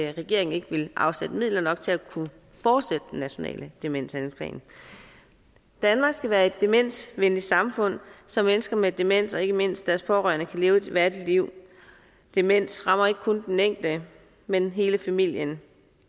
regeringen ikke ville afsætte midler nok til at kunne fortsætte den nationale demenshandlingsplan danmark skal være et demensvenligt samfund så mennesker med demens og ikke mindst deres pårørende kan leve et værdigt liv demens rammer ikke kun den enkelte men hele familien